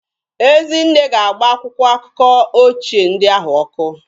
Ezinne ga-agba akwụkwọ akụkọ ochie ndị ahụ ọkụ.